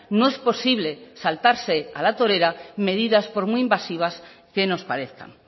no es posible saltarse a la torera medidas por muy invasivas que nos parezcan